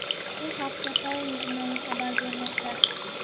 Bu haqda Time jurnali xabar bermoqda .